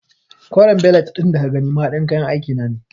Koren belet ɗin da ka gani mahaɗin kayan aiki na ne.